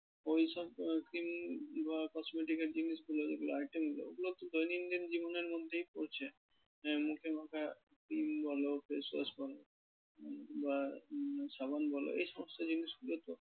ওইসব cream বা cosmetics এর জিনিসগুলো যেগুলো item গুলো, ওগুলো তো দৈনন্দিন জীবনের মধ্যেই পড়ছে আহ মুখে মাখার cream বল face wash বল বা উহ সাবান বল এই সমস্ত জিনিসগুলো তো